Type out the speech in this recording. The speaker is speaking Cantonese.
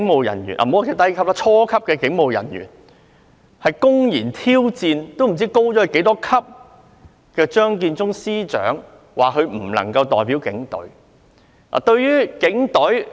一些初級警務人員公然挑戰高級很多的張建宗司長，指他不能夠代表警隊。